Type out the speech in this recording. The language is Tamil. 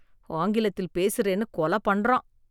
ஆங்கிலத்தில பேசுறேன்னு கொலை பண்றான்.